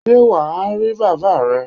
Sé wà á rí bàbáa re?